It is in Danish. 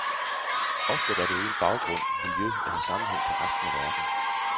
Oftest er det uden baggrund, miljø eller sammenhæng til resten af verden.